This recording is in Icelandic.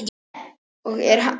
Og er enn.